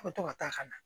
A bɛ to ka taa ka na